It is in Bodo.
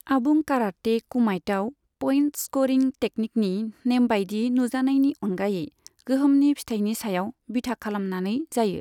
आबुं काराटे कुमाइटआव पइंट स्करिं तेकनिकनि नेमबायदि नुजानायनि अनगायै गोहोमनि फिथायनि सायाव बिथा खालामनानै जायो।